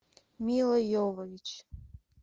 мила йовович